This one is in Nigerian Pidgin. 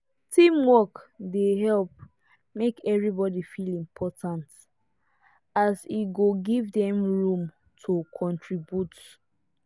teamwork dey help make everybody feel important as e go give them room to contribute.